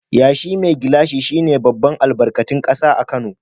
Yashi mai gilashi shi ne babban albarkatun kasa a Kano.